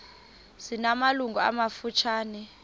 zina malungu amafutshane